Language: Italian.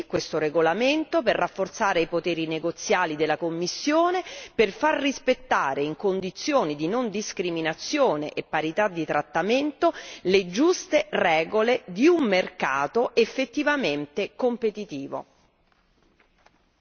Ben venga quindi questo regolamento per rafforzare i poteri negoziali della Commissione, per far rispettare, in condizioni di non discriminazione e parità di trattamento, le giuste regole di un mercato effettivamente competitivo.